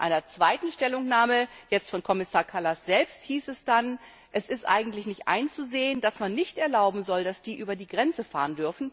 In einer zweiten Stellungnahme von Kommissar Kallas selbst hieß es dann, dass eigentlich nicht einzusehen ist, dass man nicht erlauben soll, dass die über die Grenze fahren.